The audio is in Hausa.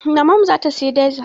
Mamanmu za ta sayi dizil.